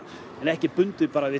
en ekki bundið bara við